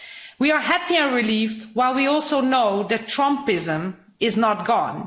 We are happy and relieved, while we also know that Trumpism is not gone.